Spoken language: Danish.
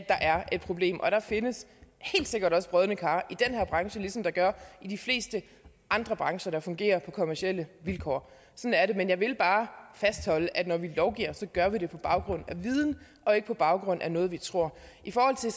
er et problem og der findes helt sikkert også brodne kar i den her branche ligesom der gør i de fleste andre brancher der fungerer på kommercielle vilkår sådan er det men jeg vil bare fastholde at når vi lovgiver gør vi det på baggrund af viden og ikke på baggrund af noget vi tror i forhold til